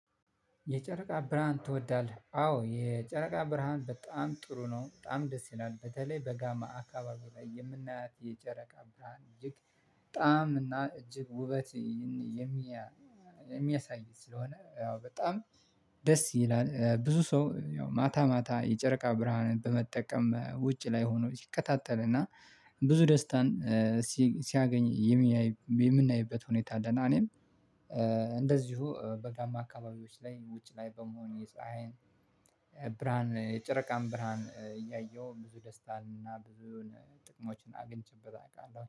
የጨረቃ ብርሃን ትወዳለህ? አዎ የጨረቃ ብርሃን በጣም ጥሩ ነው። በጣም ደስ ይላል በተለይ በጋማ አካባቢ ላይ የምናያት የጨረቃ ብርሃን እጅግ በጣም እና እጅግ ውበት። የሚያሳይ ስለሆነ ያው በጣም ደስ ይላል። ብዙ ሰው ያው ማታ ማታ የጨረቃ ብርሃንን በመጠቀም ውጭ ላይ ሆኖ ይከታተልና ብዙ ደስታን ሲያገኝ የምናይበት ሁኔታ አለና። እኔም እንደዚሁ በጋማ አካባቢዎች ላይ ውጭ ላይ በመሆን የፀሀይን ብርሃን የጨረቃን ብርሃን እያየሁ ብዙ ደስታ እና ብዙ ጥቅሞችን አግኝቼበት አውቃለሁ